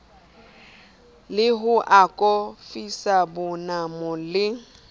le ho akofisa bonamo le